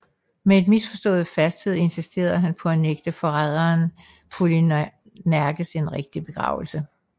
Med misforstået fasthed insisterede han på at nægte forræderen Polyneikes en rigtig begravelse